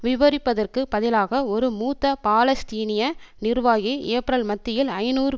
விவரிப்பதற்குப் பதிலாக ஒரு மூத்த பாலஸ்தீனிய நிர்வாகி ஏப்ரல் மத்தியில் ஐநூறு